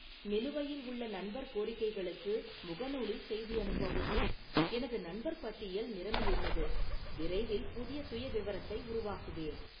நிலுவையில் உள்ள நண்பர் கோரிக்கைகளுக்கு முகநூலில் செய்தி அனுப்பவும், எனது நண்பர் பட்டியல் நிரம்பியுள்ளது, விரைவில் புதிய சுயவிவரத்தை உருவாக்குவேன்